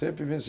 Sempre vencia.